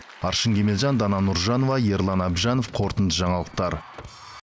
аршын кемелжан дана нұржанова ерлан әбжанов қорытынды жаңалықтар